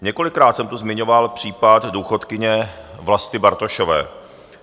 Několikrát jsem tu zmiňoval případ důchodkyně Vlasty Bartošové.